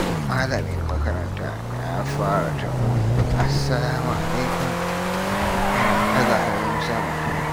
Malamin makaranta ya fara taro da "Assalāmu alaikum" yana ɗaga hannu sama.